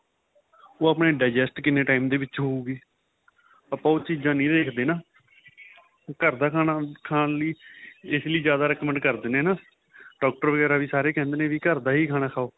ਉਹ ਆਪਣੇ digest ਕਿੰਨੇ time ਦੇ ਵਿੱਚ ਹਉਗੀ ਆਪਾਂ ਉਹ ਚੀਜਾ ਨਹੀਂ ਦੇਖਦੇ ਨਾਂ ਘਰ ਦਾ ਖਾਨਾਂ ਖਾਨ ਲਈ ਏਸ ਲਈ ਜਿਆਦਾ Redmond ਕਰ ਦੇਣੇ ਆਂ doctor ਵਗੇਰਾ ਵੀ ਸਾਰੇ ਕਹਿੰਦੇ ਨੇ ਵੀ ਘਰ ਦਾ ਹੀ ਖਾਨਾਂ ਖਾਹੋ